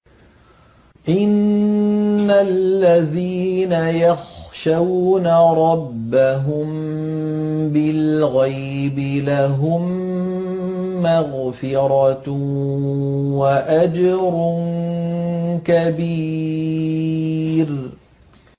إِنَّ الَّذِينَ يَخْشَوْنَ رَبَّهُم بِالْغَيْبِ لَهُم مَّغْفِرَةٌ وَأَجْرٌ كَبِيرٌ